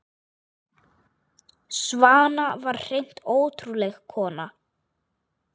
Svana var hreint ótrúleg kona.